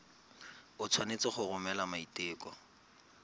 o tshwanetse go romela maiteko